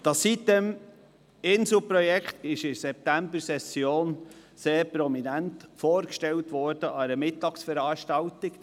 Das Sitem-insel-Projekt wurde in der Septembersession sehr prominent an einer Mittagsveranstaltung vorgestellt.